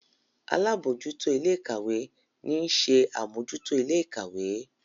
àlabòjuto Ilé-ìkàwé ní ń ṣe Amojuto Ilé-ìkàwé